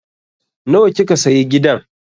Nawa kika sayi gidan?